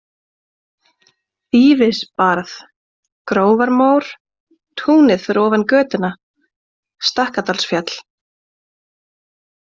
Þýfisbarð, Grófarmór, Túnið fyrir ofan götuna, Stakkadalsfjall